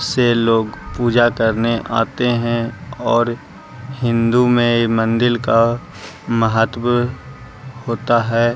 लोग पूजा करने आते है और हिन्दू में मंदील का महत्त्व होता है।